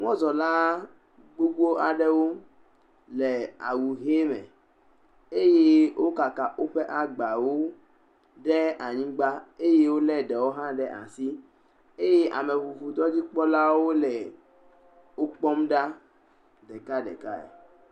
Mɔzɔla gbogbo aɖewo le awu ʋe me. eye wokaka woƒe agbawo ɖe anyigba. Eye wolé ɖewo hã ɖe asi eye ameŋuŋu dɔdzikpɔlawo le wo kpɔm ɖa ɖekɖekae.